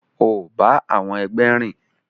O ba àwọn ẹgbẹ rìn!